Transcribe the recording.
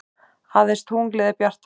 Aðeins tunglið er bjartara.